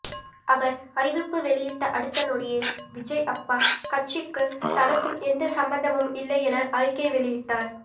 அவர் அறிவிப்பு வெளியிட்ட அடுத்த நொடியே விஜய் அப்பா கட்சிக்கு தனக்கும் எந்த சம்பந்தமும் இல்லை என அறிக்கை வெளியிட்டார்